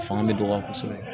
Fanga bɛ dɔgɔya kosɛbɛ